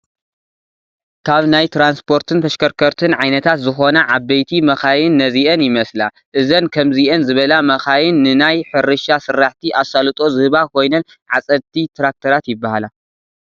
ካብ ናይ ትራንስፖርትን ተሽከርከርትን ዓይነታት ዝኾና ዓበይቲ መካይን ነዚአን ይመስላ፡፡ እዘን ከምዚአን ዝበላ መካይን ንናይ ሕርሻ ስራሕቲ ኣሳልጦ ዝህባ ኮይነን ዓፀድቲ ትራክተራት ይባሃላ፡፡